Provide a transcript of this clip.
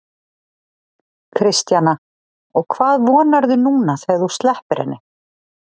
Kristjana: Og hvað vonarðu núna þegar þú sleppir henni?